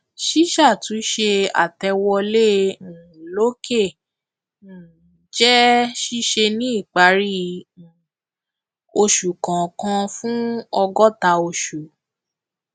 ṣísàtúnṣe àtẹwolé um lòkè um jẹ ṣíṣe ní ìparí um oṣù kọọkan fún ọgọta oṣù